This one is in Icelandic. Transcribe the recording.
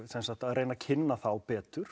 reyna að kynna þá betur